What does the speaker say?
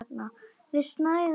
Við snæðum í þögn.